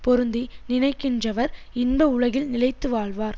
பொருந்தி நினைக்கின்றவர் இன்ப உலகில் நிலைத்து வாழ்வார்